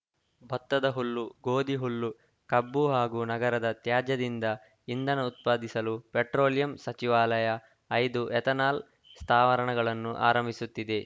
ಭತ್ತದ ಹುಲ್ಲು ಗೋಧಿ ಹುಲ್ಲು ಕಬ್ಬು ಹಾಗೂ ನಗರದ ತ್ಯಾಜ್ಯದಿಂದ ಇಂಧನ ಉತ್ಪಾದಿಸಲು ಪೆಟ್ರೋಲಿಯಂ ಸಚಿವಾಲಯ ಐದು ಎಥನಾಲ್‌ ಸ್ಥಾವರಣಗಳನ್ನು ಆರಂಭಿಸುತ್ತಿದೆ